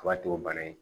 O b'a to bana in